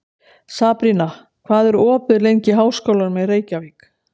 Sabrína, hvað er opið lengi í Háskólanum í Reykjavík?